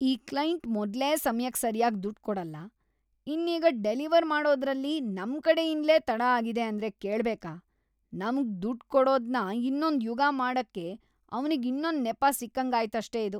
ಈ ಕ್ಲೈಂಟ್ ಮೊದ್ಲೇ ಸಮಯಕ್ ಸರ್ಯಾಗ್ ದುಡ್ಡ್‌ ಕೊಡಲ್ಲ‌, ಇನ್ನೀಗ ಡೆಲಿವರ್‌ ಮಾಡೋದ್ರಲ್ಲಿ ನಮ್ಕಡೆಯಿಂದ್ಲೇ ತಡ ಆಗಿದೆ ಅಂದ್ರೆ ಕೇಳ್ಬೇಕಾ,‌ ನಮ್ಗ್‌ ದುಡ್ಡ್‌ ಕೊಡೋದ್ನ ಇನ್ನೊಂದ್‌ ಯುಗ ಮಾಡಕ್ಕೆ ಅವ್ನಿಗಿನ್ನೊಂದ್ ನೆಪ ಸಿಕ್ಕಂಗಾಯ್ತಷ್ಟೇ ಇದು!